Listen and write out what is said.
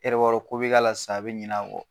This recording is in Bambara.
E yɛrɛ b'a dɔn ko bi k'a la sisan a bi ɲina kɔ